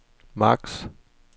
max